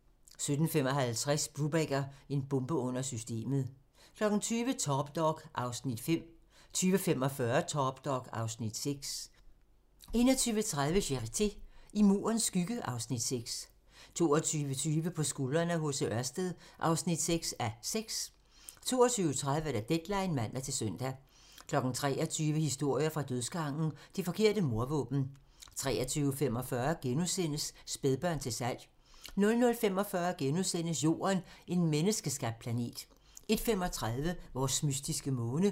17:55: Brubaker - en bombe under systemet 20:00: Top dog (Afs. 5) 20:45: Top dog (Afs. 6) 21:30: Charité - I Murens skygge (Afs. 6) 22:20: På skuldrene af H.C. Ørsted (6:6) 22:30: Deadline (man-søn) 23:00: Historier fra dødsgangen - Det forkerte mordvåben 23:45: Spædbørn til salg * 00:45: Jorden - en menneskeskabt planet * 01:35: Vores mystiske måne